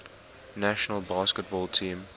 national basketball team